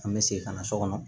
An bɛ segin ka na so kɔnɔ